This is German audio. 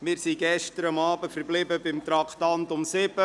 Wir sind gestern bei Traktandum 7 stehen geblieben.